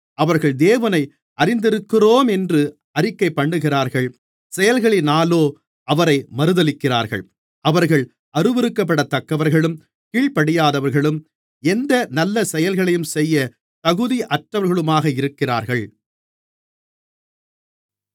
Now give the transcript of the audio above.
அவர்கள் தேவனை அறிந்திருக்கிறோமென்று அறிக்கைபண்ணுகிறார்கள் செயல்களினாலோ அவரை மறுதலிக்கிறார்கள் அவர்கள் அருவருக்கப்படத்தக்கவர்களும் கீழ்ப்படியாதவர்களும் எந்த நல்ல செயல்களையும் செய்ய தகுதியற்றவர்களுமாக இருக்கிறார்கள்